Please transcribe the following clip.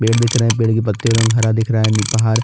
पेड़ दिख रहा है पेड़ के पत्तियों का रंग हरा दिख रहा है पहाड़--